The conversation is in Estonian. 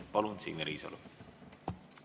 Palun, Signe Riisalo!